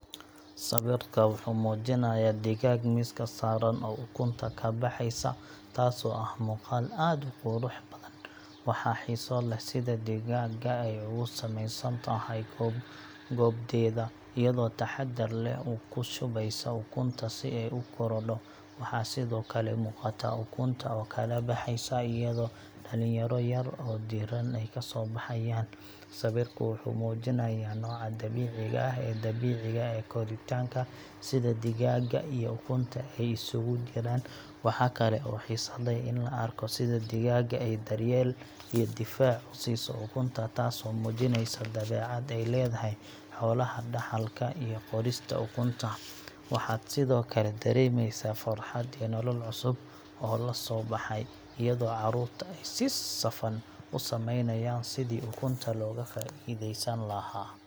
Sawirka wuxuu muujinayaa digaag miiska saaran oo ukunta ka baxaysa, taasoo ah muuqaal aad u qurux badan. Waxaa xiiso leh sida digaagga ay ugu samaysan tahay goobdeeda, iyadoo taxaddar leh oo ku shubeysa ukunta si ay u korodho. Waxaa sidoo kale muuqata ukunta oo kala baxaysa, iyadoo dhalinyaro yar yar oo diirran ay ka soo baxayaan. Sawirku wuxuu muujinayaa nooca dabiiciga ah ee dabiiciga ee koritaanka, sida digaagga iyo ukunta ay isugu jiraan. Waxaa kale oo xiiso leh in la arko sida digaagga ay daryeel iyo difaac u siiso ukunta, taasoo muujinaysa dabeecad ay leedahay xoolaha dhaxalka iyo qorista ukunta. Waxaad sidoo kale dareemaysaa farxad iyo nolol cusub oo la soo baxay, iyadoo carruurta ay si safan u samaynayaan sidii ukunta looga faa'iidaysan lahaa.